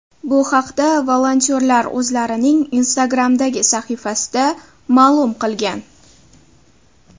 Bu haqda volontyorlar o‘zlarining Instagram’dagi sahifasida ma’lum qilgan.